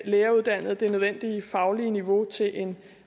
læreruddannede det nødvendige faglige niveau til en